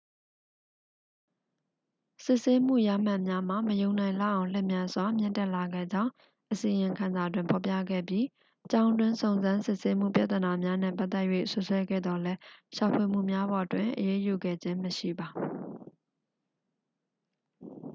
စစ်ဆေးမှုရမှတ်များမှာ မယုံနိုင်လောက်အောင် လျင်မြန်စွာ မြင့်တက်လာခဲ့ကြောင်း အစီရင်ခံစာတွင်ဖော်ပြခဲ့ပြီး ကျောင်းတွင်းစုံစမ်းစစ်ဆေးမှုပြဿနာများနှင့်ပတ်သက်၍ စွပ်စွဲခဲ့သော်လည်း ရှာဖွေမှုများပေါ်တွင် အရေးယူခဲ့ခြင်းမရှိပါ